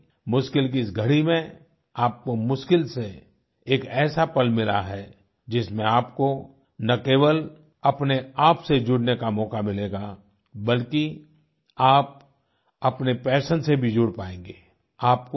यानि मुश्किल की इस घड़ी में आपको मुश्किल से एक ऐसा पल मिला है जिसमें आपको ना केवल अपने आप से जुड़ने का मौका मिलेगा बल्कि आप अपने पैशन से भी जुड़ पाएंगे